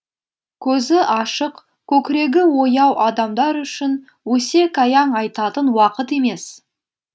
көзі ашық көкірегі ояу адамдар үшін өсек аяң айтатын уақыт емес